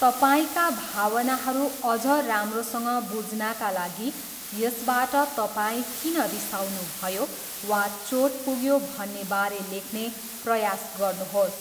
तपाईँका भावनाहरू अझ राम्रोसँग बुझ्नाका लागि यसबाट तपाईँ किन रिसाउनुभयो वा चोट पुग्यो भन्ने बारे लेख्ने प्रयास गर्नुहोस्।